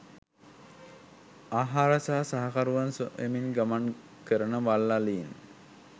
ආහාර සහ සහකරුවන් සොයමින් ගමන් කරන වල් අලීන්